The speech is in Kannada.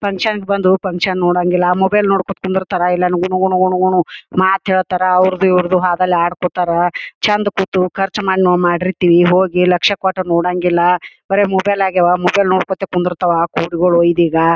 ಫಂಕ್ಷನ್ ಗ ಬಂದು ಫಂಕ್ಷನ್‌ ನೋಡಂಗಿಲ್ಲ ಮೊಬೈಲ್ ನೋಡ್ಕೊತ ಕುಂದರ್ಥರ ಇಲ್ಲ ಅಂದ್ರ ಗುಣು ಗುಣು ಗುಣುಗುಣು ಮಾತ್ ಹೇಳ್ತರ ಅವ್ರದು ಇವರದು ಹೋದಲ್ಲಿ ಆಡ್ಕೋತಾರ ಚಂದ್ ಕೂತು ಖರ್ಚ್ ಮಾಡಿ ನಾವು ಮಾಡಿರ್ತಿವಿ ಹೋಗಿ ಲಕ್ಷ್ಯ ಕೋಟ್ ನೋಡಂಗಿಲ್ಲ ಬರೇ ಮೊಬೈಲ್ ಆಗ್ಯಾವ ಮೊಬೈಲ ನೋಡ್ಕೊತ ಕುಂದರತವ ಕೊಡಿಗಳು ಇದೀಗ .